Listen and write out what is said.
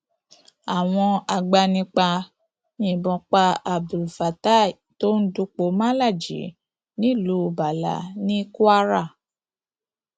àwọn agbanipa yìnbọn pa abdulfatai tó ń dupò malaji nílùú ballah ní kwara